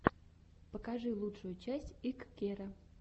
покажи лучшую часть иккеро